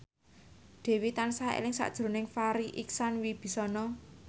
Dewi tansah eling sakjroning Farri Icksan Wibisana